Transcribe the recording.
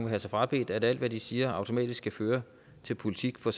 have sig frabedt at alt hvad de siger automatisk skal føre til politik for